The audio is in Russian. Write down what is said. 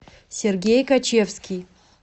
сергей качевский